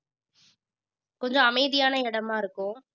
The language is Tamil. கொஞ்சம் அமைதியான இடமா இருக்கும்